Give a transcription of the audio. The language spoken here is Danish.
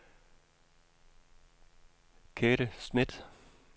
Kathe Schmidt